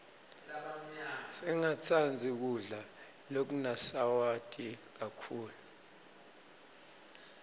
singatsandzi kudla lokunasawati kakhulu